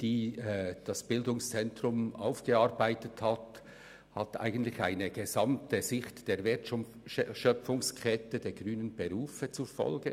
Die vom bz emme erarbeitete Strategie hat eine gesamte Sicht auf die Wertschöpfungskette der grünen Berufe zur Folge.